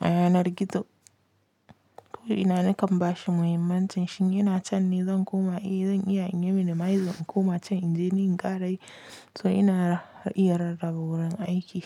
a yanar gizo. Ko ina nakan bashi muhimmancin shi ne, ina can ni zan koma, eh zan iya in minimize zan koma can inje in ƙarayi. So ina iya rarrabe wurin aiki.